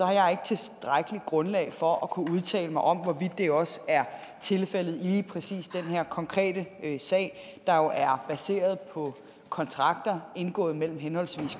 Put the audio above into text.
jeg ikke tilstrækkeligt grundlag for at kunne udtale mig om hvorvidt det også er tilfældet i lige præcis den her konkrete sag der jo er baseret på kontrakter indgået mellem henholdsvis